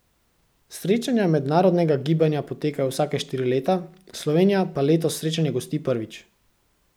Srečanja mednarodnega gibanja potekajo vsake štiri leta, Slovenija pa letos srečanje gosti prvič.